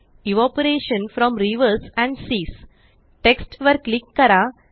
evaporation from rivers and seas text वर click करा